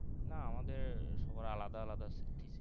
না আমাদের সবার আলাদা আলাদা thesis